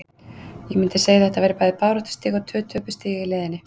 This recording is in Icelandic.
Ég myndi segja að þetta væri bæði baráttustig og tvö töpuð stig í leiðinni.